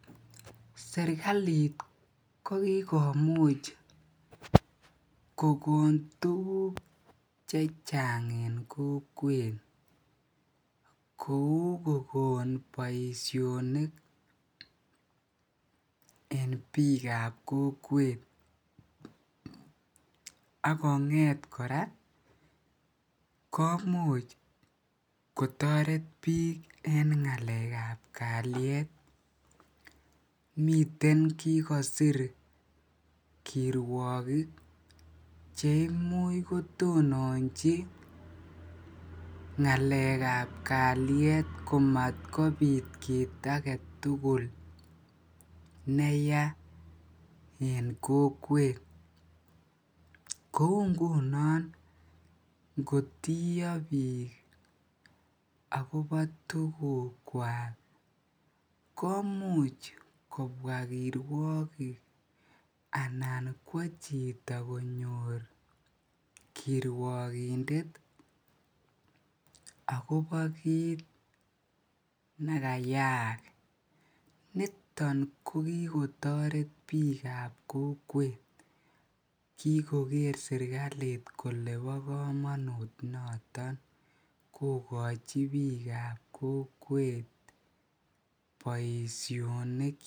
serkaliit kogigomuch kogoon tuguk chechang en kokweet koou kogoon boishonik en biik ab kokweet, ak kongeet koraa komuch kotoret biik en ngaleek ab kalyeet miten kigosiir kiirwogik cheimuch kotononchi ngaleek ab kalyet komatkobiit kiit agetul neyaa en kokweet, kouu nguno ngotiyoo biik agiobo tuguuk kwaak komuch kobwaa kirwogik anan kwoo chito konyoor kirwogindet agobo kiit negayaak, niton ko kigotoret biik ab kokwet kigogeer serkaliit kole bo komonuut noton kogochi biik ab kokwet boishonik.